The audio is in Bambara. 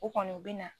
O kɔni bɛ na